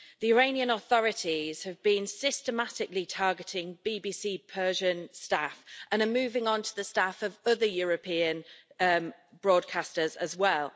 The Iranian authorities have been systematically targeting BBC Persian staff, and are moving on to the staff of other European broadcasters as well.